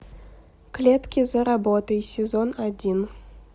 клетки за работой сезон один